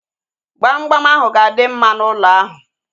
Gbamgbam ahu ga-adị mma n'ụlọ ahu